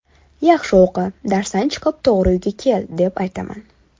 Yaxshi o‘qi, darsdan chiqib uyga to‘g‘ri kel, deb aytaman.